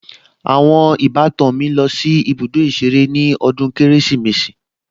Àwọn ìbátan mi lọ sí ibùdó ìṣeré ní ọdún Kérésìmesì